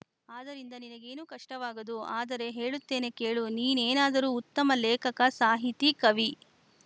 ಆದರಿಂದ ನಿನಗೇನೂ ಕಷ್ಟವಾಗದು ಆದರೆ ಹೇಳುತ್ತೇನೆ ಕೇಳು ನೀನೇನಾದರೂ ಉತ್ತಮ ಲೇಖಕ ಸಾಹಿತಿ ಕವಿ